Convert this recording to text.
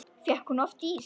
Fékk hún oft ís?